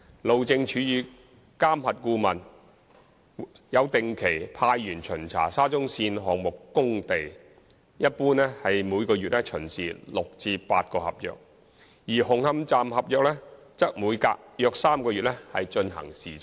路政署與監核顧問有定期派員巡查沙中線項目工地，一般每月巡視6至8個合約，而紅磡站合約則每隔約3個月進行視察。